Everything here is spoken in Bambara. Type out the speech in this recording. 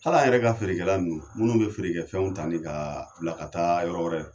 Hali a yɛrɛ ka feerekɛla nunnu, munnu bɛ feerefɛnw ta nin ka bila ka taa yɔrɔ wɛrɛ.